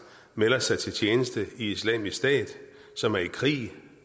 melder sig til tjeneste i islamisk stat som er i krig